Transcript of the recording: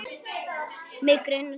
Mig grunar það.